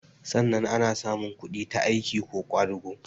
Sanna ana samun kudi ta aiki ko ƙwadago